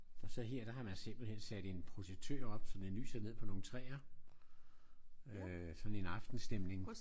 Og så her der har man simpelthen sat en projektør op så den lyser ned på nogle træer. Øh sådan en aftenstemning